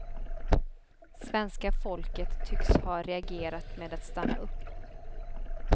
Svenska folket tycks ha reagerat med att stanna upp.